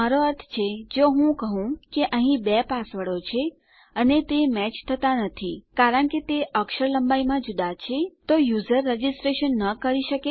મારો અર્થ છે જો હું કહું કે અહીં બે પાસવર્ડો છે અને તે મેચ થતા નથી કારણ કે તે અક્ષર લંબાઈમાં જુદા છે તો યુઝર રજીસ્ટર ન કરી શકે કારણ કે તેમણે કઈક ભૂલ કરી હશે